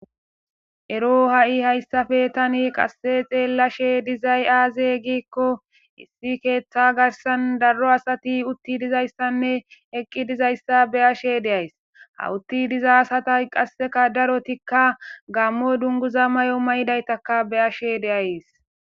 Eroo ha7i haysape thani qassi xeellashee dizay aazee giikko issi keeththaa garssan daro asathi uththi dizayssanne eqqi dizayssa be7ashee de7ays;ha uththi diza asathay qassika darothikka gaammo dunguza mayo mayidaythakka be7ashee de7ays.